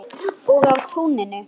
Og á túninu.